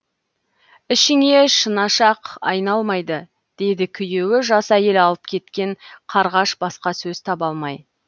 ішіңе шынашақ айналмайды дейді күйеуі жас әйел алып кеткен қарғаш басқа сөз таба алмай